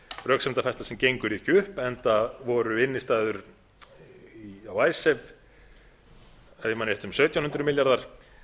röksemdafærsla sem gengur ekki upp enda voru innstæður á icesave ef ég man rétt um sautján hundruð milljarðar